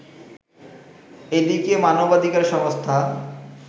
এদিকে মানবাধিকার সংস্থা